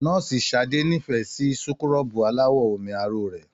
Nọ́ọ̀sì Sadé n'ifẹ sí súkúrọbuù alawọ omi aro rẹ.